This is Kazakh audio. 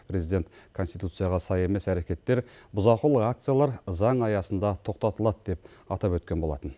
президент конституцияға сай емес әрекеттер бұзақылық акциялар заң аясында тоқтатылады деп атап өткен болатын